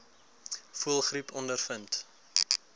voëlgriep ondervind